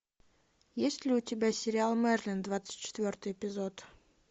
есть ли у тебя сериал мерлин двадцать четвертый эпизод